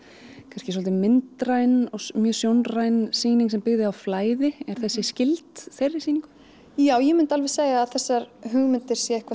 kannski svolítið myndræn mjög sjónræn sýning sem byggði á flæði er þessi skyld þeirri sýningu já ég myndi alveg segja að þessar hugmyndir séu eitthvað